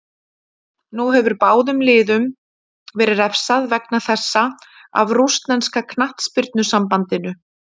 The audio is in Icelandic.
Nú hefur báðum liðum verið refsað vegna þessa af rússneska knattspyrnusambandinu.